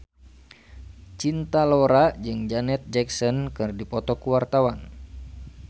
Cinta Laura jeung Janet Jackson keur dipoto ku wartawan